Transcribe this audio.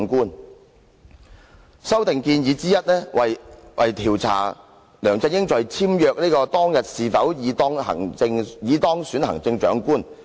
其中一項修訂建議調查梁振英在簽約"當日是否已當選行政長官"。